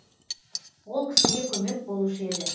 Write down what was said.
ол кісіге көмек болушы еді